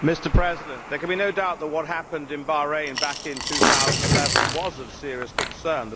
Mr President, there can be no doubt that what happened in Bahrain back in 2011 was of serious concern.